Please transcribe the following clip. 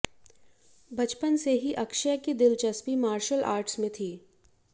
बचपन से ही अक्षय की दिलचस्पी मार्शल आर्ट में थी